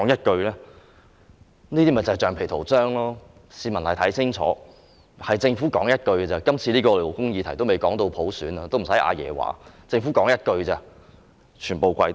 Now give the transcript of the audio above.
這就是橡皮圖章，市民要看清楚，今次這只是一項勞工議題，還未說到普選，不用"阿爺"出聲，政府說一句，建制派便全部跪低。